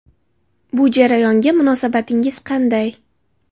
Bu jarayonga munosabatingiz qanday?